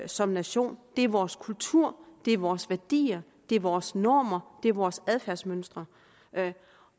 som nation det er vores kultur det er vores værdier det er vores normer det er vores adfærdsmønstre